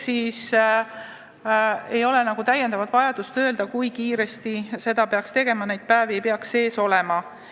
Seega ei ole täiendavat vajadust öelda, kui kiiresti seda peaks tegema, neid päevi ei peaks sees olema.